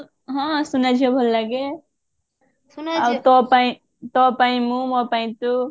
ହଁ ସୁନାଝିଅ ଭଲ ଲାଗେ ଆଉ ତୋ ପାଇଁ ତୋ ପାଇଁ ମୁଁ ମୋ ପାଇଁ ତୁ